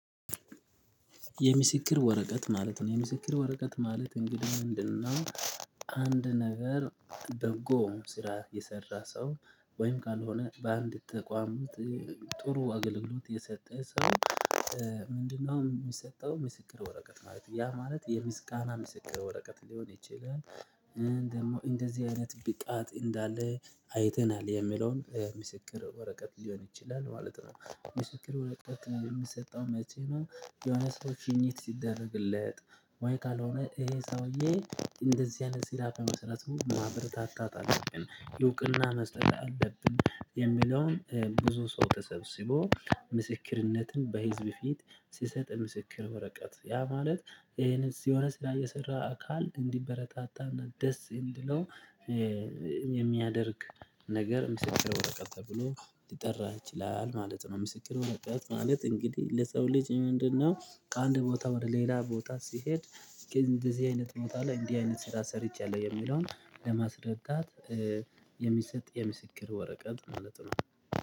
የምስክር ወረቀት ማለት ነው የምስክር ወረቀት ማለት እንግዲህ ምንድነው? አንድ ነገር በጎ ስራ የሰራ ሰው ወይም ካልሆነ በአንድ ተቋም ጥሩ አገልግሎት የሰጠ ሰው ምንድነው የሚሰጠው ምስክር ወረቀት ማለት ነው ያ ማለት የምስጋና ምስክር ወረቀት ሊሆን ይችላል። ደግሞ እንደዚህ አይነት ብቃት እንዳለ አይተናል የሚለውን ምስክር ወረቀት ሊሆን ይችላል ማለት ነው። ምስክር ወረቀት የሚሰጠው መቼ? የሆነ ሰው ሽኝት ሲደረግለት ወይም ካልሆነ ይሄ ሰውዬ እንደዚህ አይነት ስራ በመስራቱ ማበረታታት አለብን እውቅና መስጠት አለብን የሚለውን ብዙ ሰው ተሰብስቦ ምስክርነትን በህዝብ ፊት ሲሰጥ ምስክር ወረቀት ያ ማለት ይሄንን የሆነ ስራ የሰራ አካል እንዲበረታታና ደስ እንዲለው የሚያደርግ ነገር ምስክር ወረቀት ተብሎ ሊጠራ ይችላል ማለት ነው። ምስክር ወረቀት ማለት እንግዲህ ለሰው ልጅ ምንድነው? ከአንድ ቦታ ወደ ሌላ ቦታ ሲሄድ ግን እንደዚህ አይነት ቦታ ላይ እንዲህ አይነት ስራ ሰርቻለሁ የሚለውን ለማስረዳት የሚሰጥ የምስክር ወረቀት ማለት ነው